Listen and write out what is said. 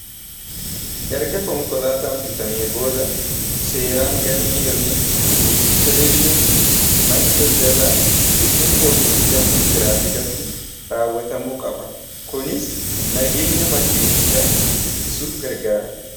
Erga konkolaataan bitame booda seeraan galmii yookiin rejistreeshin mana daldalaa yookiin poolisii dambiitiraafikatti raawwatamuu qaba kunis nageenya makiinicha ittisuuf gargaara.